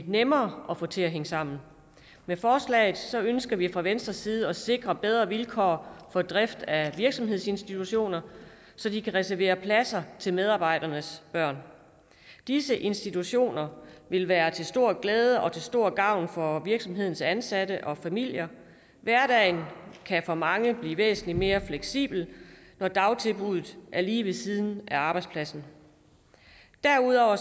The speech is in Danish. nemmere at få til at hænge sammen med forslaget ønsker vi fra venstres side at sikre bedre vilkår for drift af virksomhedsinstitutioner så de kan reservere pladser til medarbejdernes børn disse institutioner vil være til stor glæde og til stor gavn for virksomhedens ansatte og familier hverdagen kan for mange blive væsentlig mere fleksibel når dagtilbuddet er lige ved siden af arbejdspladsen derudover